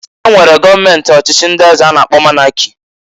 E nwere gọọment ọchịchị ndị eze a na-akpọ Monaki